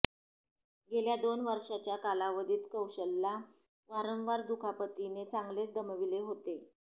गेल्या दोन वर्षांच्या कालावधीत कौशलला वारंवार दुखापतीने चांगलेच दमविले होते